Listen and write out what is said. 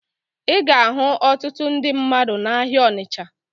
Ị ga-ahụ ọtụtụ ndị mmadụ n'ahịa Ọnịcha